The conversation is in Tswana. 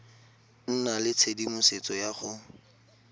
nna le tshedimosetso ya go